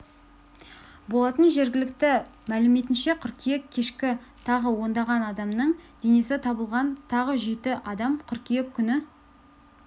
болатын жергілікті мәліметінше қыркүйек кешке тағы ондаған адамның денесі табылған тағы жеті адам қыркүйек күні